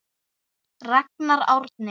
Ragnar Árni.